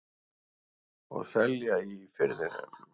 Og selja í Firðinum.